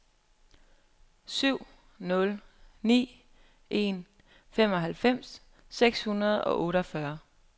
syv nul ni en femoghalvfems seks hundrede og otteogfyrre